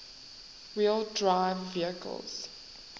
wheel drive vehicles